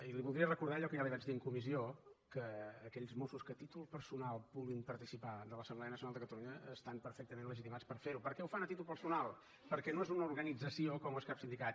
i li voldria recordar allò que ja li vaig dir en comissió que aquells mossos que a títol personal vulguin participar en l’assemblea nacional de catalunya estan perfectament legitimats per fer ho perquè ho fan a títol personal perquè no és una organització com no és cap sindicat